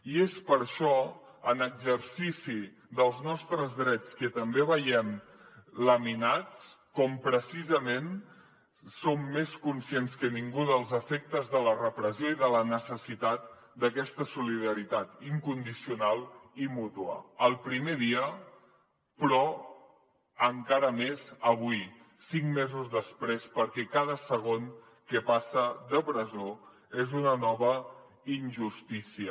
i és per això en exercici dels nostres drets que també veiem laminats com precisament som més conscients que ningú dels efectes de la repressió i de la necessitat d’aquesta solidaritat incondicional i mútua el primer dia però encara més avui cinc mesos després perquè cada segon que passa de presó és una nova injustícia